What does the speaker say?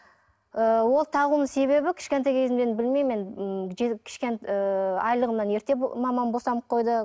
ы ол тағуымның себебі кішкентай кезімнен енді білмеймін енді м ыыы айлығымнан ерте мамам босанып қойды